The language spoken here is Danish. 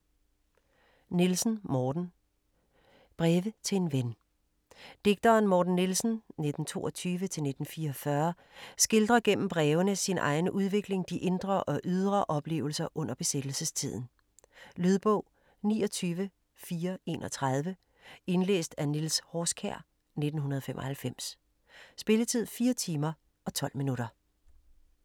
Nielsen, Morten: Breve til en ven Digteren Morten Nielsen (1922-1944) skildrer gennem brevene sin egen udvikling, de indre og ydre oplevelser under besættelsestiden. Lydbog 29431 Indlæst af Niels Horskjær, 1995. Spilletid: 4 timer, 12 minutter.